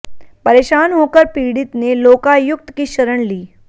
परेशान होकर पीड़ित ने लोकायुक्त की शरण ली